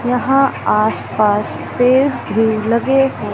यहां आस पास पेड़ भी लगे है।